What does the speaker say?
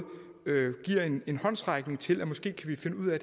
giver en en håndsrækning til at vi måske kan finde ud af